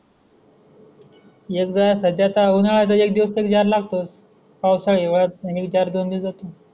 एकदा सध्या काय उन्हाळा तर एक दिवस तरी जार लागतो. पावसाळा, हिवाळा हे चार दोन दिवस जातो?